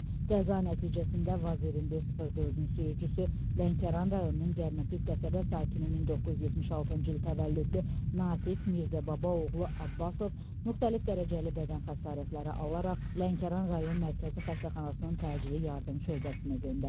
Qəza nəticəsində Vaz 2104-ün sürücüsü, Lənkəran rayonunun Gərmətük qəsəbə sakini 1976-cı il təvəllüdlü Natiq Mirzəbaba oğlu Abbasov müxtəlif dərəcəli bədən xəsarətləri alaraq Lənkəran rayon Mərkəzi Xəstəxanasının təcili yardım şöbəsinə göndərilib.